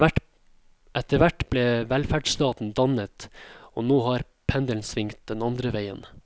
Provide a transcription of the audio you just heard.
Etterhvert ble velferdsstaten dannet, og nå har pendelen svingt den andre veien.